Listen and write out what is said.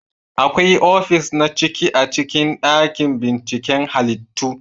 Akwai ofis na ciki a cikin dakin binciken halittu